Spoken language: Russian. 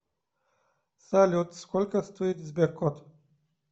салют сколько стоит сберкот